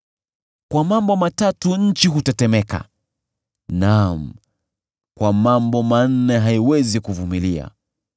“Kwa mambo matatu nchi hutetemeka, naam, kwa mambo manne haiwezi kuvumilia: